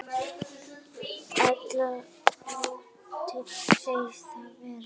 Ella láti þeir það vera.